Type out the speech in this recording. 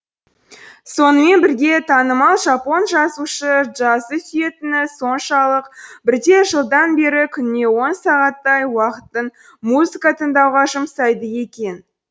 сонымен бірге танымал жапон жазушысы джазды сүйетіні соншалық бірнеше жылдан бері күніне он сағаттай уақытын музыка тыңдауға жұмсайды екен